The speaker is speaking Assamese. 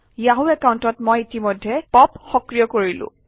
য়াহু একাউণ্টত মই ইতিমধ্যেই পপ সক্ৰিয় কৰিলো